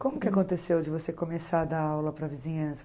Como que aconteceu de você começar a dar aula para a vizinhança?